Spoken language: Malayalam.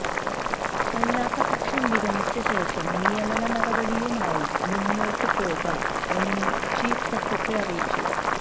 അല്ലാത്ത പക്ഷം വിരമിച്ച ശേഷം നിയമനടപടിയുമായി മുന്നോട്ട് പോകാം എന്നും ചീഫ സെക്രട്ടറി അറിയിച്ചു